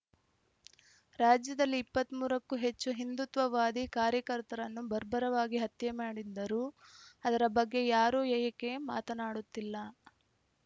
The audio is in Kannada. ರಾಜ್ಯದಲ್ಲಿ ಇಪ್ಪತ್ತ್ ಮೂರ ಕ್ಕೂ ಹೆಚ್ಚು ಹಿಂದುತ್ವವಾದಿ ಕಾರ್ಯಕರ್ತರನ್ನು ಬರ್ಬರವಾಗಿ ಹತ್ಯೆ ಮಾಡಿದ್ದರೂ ಅದರ ಬಗ್ಗೆ ಯಾರೂ ಏಕೆ ಮಾತನಾಡುತ್ತಿಲ್ಲ